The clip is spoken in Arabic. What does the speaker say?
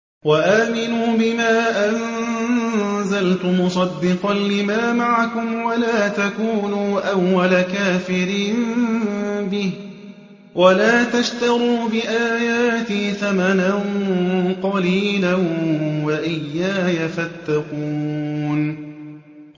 وَآمِنُوا بِمَا أَنزَلْتُ مُصَدِّقًا لِّمَا مَعَكُمْ وَلَا تَكُونُوا أَوَّلَ كَافِرٍ بِهِ ۖ وَلَا تَشْتَرُوا بِآيَاتِي ثَمَنًا قَلِيلًا وَإِيَّايَ فَاتَّقُونِ